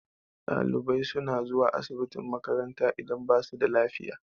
Ɗalibai suna zuwa asibitin makaranta idan ba su da lafiya.